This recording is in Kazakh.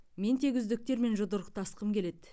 мен тек үздіктермен жұдырықтасқым келеді